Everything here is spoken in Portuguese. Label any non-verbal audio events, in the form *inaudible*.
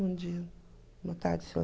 Bom dia, boa tarde *unintelligible*